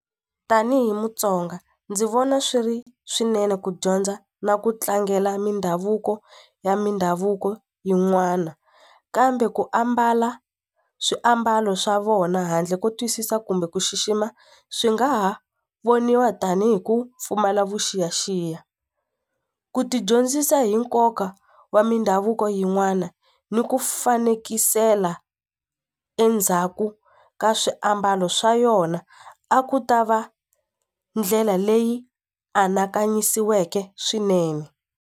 Tanihi Mutsonga ndzi vona swi ri swinene ku dyondza na ku tlangela mindhavuko ya mindhavuko yin'wana kambe ku ambala swiambalo swa vona handle ko twisisa kumbe ku xixima swi nga ha voniwa tanihi ku pfumala vuxiyaxiya ku ti dyondzisa hi nkoka wa mindhavuko yin'wana ni ku fanekisela endzhaku ka swiambalo swa yona a ku ta va ndlela leyi anakanyisiweke swinene.